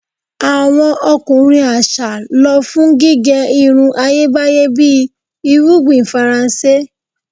Awọn ọkunrin aṣa lọ fun gige irun Ayebaye bi irugbin Faranse